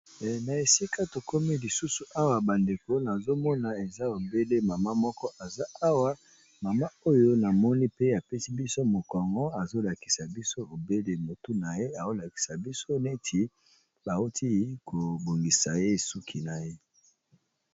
Na esika tokomi lisusu awa bandeko, nazo mona eza obele mama moko aza awa. Mama oyo, na moni pe apesi biso mokongo. Azo lakisa biso obele motu na ye, azo lakisa biso neti bauti kobongisa ye suki na ye.